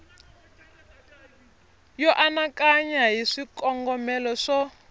yo anakanya hi swikongomelo swo